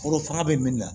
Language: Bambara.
Foro faga bɛ min na